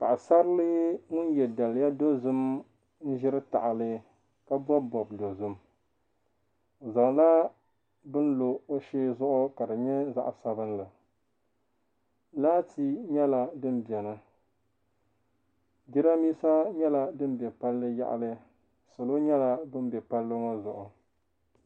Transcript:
Paɣi sarili. ŋun ye daliya dozim. n ʒiri tahili ka bɔb bɔb dozim, ɔzaŋla bɛni n lɔ ɔshee zuɣu kadinyɛ zaɣi sabinli laati nyɛla din beni jiranbisa nyɛla din be palli yaɣili salɔ nyala ban be palli ŋɔ zuɣu.